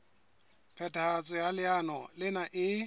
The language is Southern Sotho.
phethahatso ya leano lena e